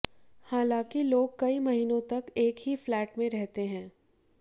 हालांकि लोग कई महीनों तक एक ही फ्लैट में रहते हैं